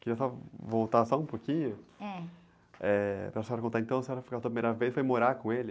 Queria só voltar só um pouquinho...h.h, para a senhora contar, então, a senhora foi morar com ele?